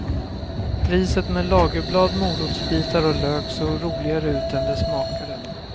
Riset med lagerblad, morotsbitar och lök såg roligare ut än det smakade.